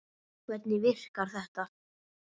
Hvernig virkar þetta?